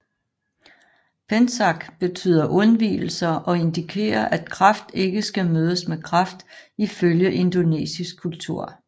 Pençak betyder undvigelser og indikerer at kraft ikke skal mødes med kraft ifølge indonesisk kultur